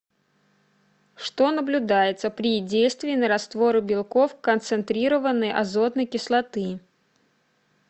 что наблюдается при действии на растворы белков концентрированной азотной кислоты